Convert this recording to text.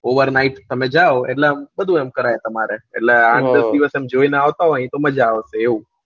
over night તમે જાવ એટલે બધું એમ કરાય તમારે એટલે ચાર પાંચ દિવસ જોઈન આવતા હોય તો આમ મજા આવશે એવું